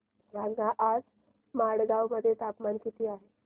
सांगा आज मडगाव मध्ये तापमान किती आहे